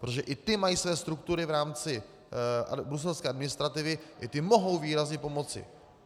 Protože i ty mají své struktury v rámci bruselské administrativy, i ty mohou výrazně pomoci.